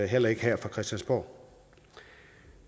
heller ikke her på christiansborg